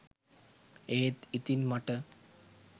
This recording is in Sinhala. ඒත් ඉතින් මට